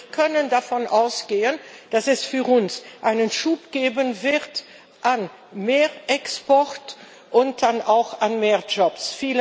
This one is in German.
Wir können davon ausgehen, dass es für uns einen Schub geben wird an mehr Export und dann auch an mehr Jobs.